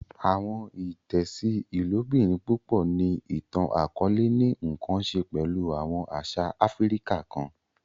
Awọn itẹsi ilobirin pupọ ni itan-akọọlẹ ni nkan ṣe pẹlu awọn aṣa Áfíríkà kàn.